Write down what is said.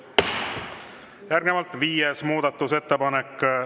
Järgnevalt viies muudatusettepanek.